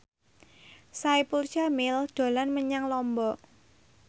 Saipul Jamil dolan menyang Lombok